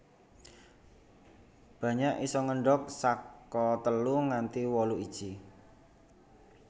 Banyak isa ngendhog saka telu nganti wolu iji